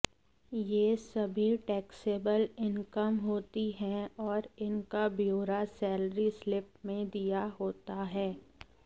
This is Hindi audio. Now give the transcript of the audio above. ये सभी टैक्सेबल इनकम होती है और इनका ब्योरा सैलरी स्लिप में दिया होता है